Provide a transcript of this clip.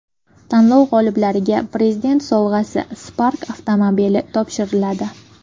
Tanlov g‘oliblariga Prezident sovg‘asi Spark avtomobili topshiriladi.